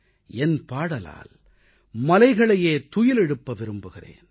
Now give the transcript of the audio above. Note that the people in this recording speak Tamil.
என் பாடலால் மலைகளை துயிலெழுப்ப விரும்புகிறேன்